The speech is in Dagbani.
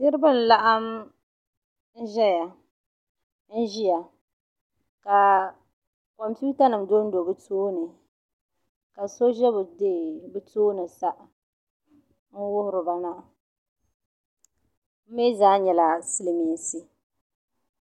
Niraba n laɣim ʒiya ka kompiuta nim dondo bi tooni ka so ʒɛ bi tooni sa n wuhuriba na bimii zaa nyɛla silmiinsi